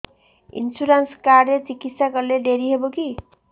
insurance card ରେ ଚିକିତ୍ସା କଲେ ଡେରି ହବକି